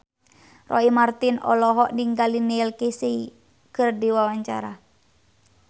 Roy Marten olohok ningali Neil Casey keur diwawancara